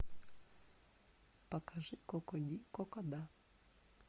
покажи коко ди коко да